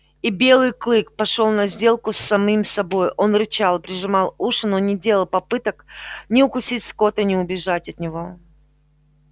и белый клык пошёл на сделку с самим собой он рычал прижимал уши но не делал попыток ни укусить скотта ни убежать от него